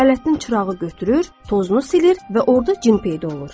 Ələddin çırağı götürür, tozunu silir və orda cin peyda olur.